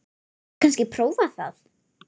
Hefurðu kannski prófað það?